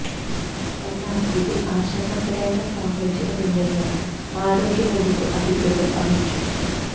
എന്നാൽ ഇതിൽ ആശങ്കപ്പെടേണ്ട സാഹചര്യം ഇല്ലെന്ന് ആരോഗ്യ വകുപ്പ് അധികൃതർ അറിയിച്ചു